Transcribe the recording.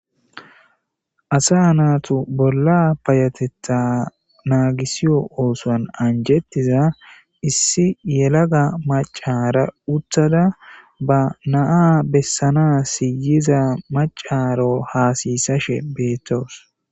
Asa naatu bolla payatetta naagisiyo oosoan anjettiza issi yelaga macara utthada ba naa bessana siyiza macaro haasiyisashe beettoos.